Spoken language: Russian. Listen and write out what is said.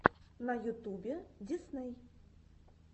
на ютюбе дисней